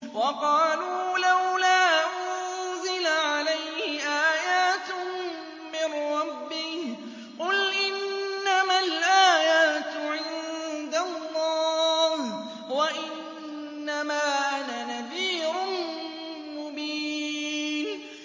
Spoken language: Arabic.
وَقَالُوا لَوْلَا أُنزِلَ عَلَيْهِ آيَاتٌ مِّن رَّبِّهِ ۖ قُلْ إِنَّمَا الْآيَاتُ عِندَ اللَّهِ وَإِنَّمَا أَنَا نَذِيرٌ مُّبِينٌ